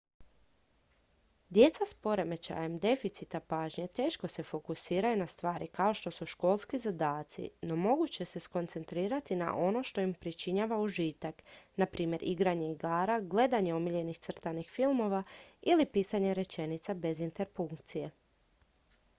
djeca s poremećajem deficita pažnje teško se fokusiraju na stvari kao što su školski zadaci no mogu se koncentrirati na ono što im pričinjava užitak na primjer igranje igara gledanje omiljenih crtanih filmova ili pisanje rečenica bez interpunkcije